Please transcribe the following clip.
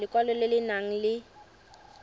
lekwalo le le nang le